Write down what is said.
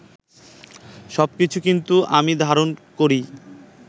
সবকিছু কিন্তু আমি ধারণ করেই